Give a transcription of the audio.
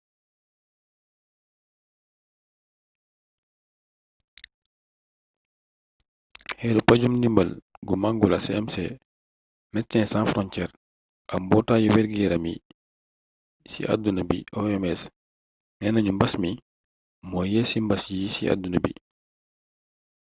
këru paju-ndimbal gu mangola cmc médecins sans frontières ak mbootaayu wérgi-yaramu ci àdduna bi oms neena ñu mbas mii moo yées ci mbas yi ci àdduna bi